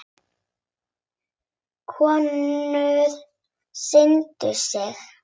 Konur signdu sig.